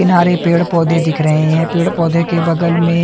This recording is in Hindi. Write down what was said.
किनारे पेड़ पोधे दिख रहे हे पेड़ पोधे के बगल में--